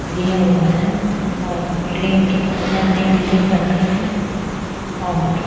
दिया हुआ है और बिल्डिंग के पास यहां नई बिल्डिंग बन रही है और--